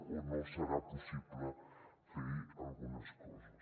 o no serà possible fer algunes coses